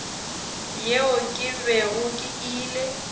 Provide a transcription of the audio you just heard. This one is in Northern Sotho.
yeo ke bego ke ile